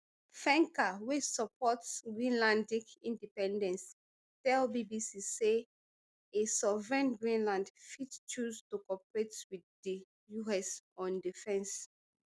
fencker wey support greenlandic independence tell bbc say a sovereign greenland fit choose to cooperate wit di us on defence